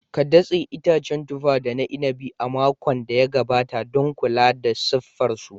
Ka datse itacen tufa da na inabi a makon da ya gabata don kula da siffar su.